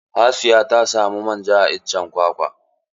Hasiya ta samu manja a iccen kwakwa.